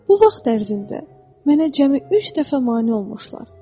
Bu vaxt ərzində mənə cəmi üç dəfə mane olmuşlar.